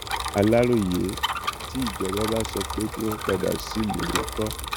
aláròyé tí ìjọba bá sọ pé kí wọn padà sílùú ńkọ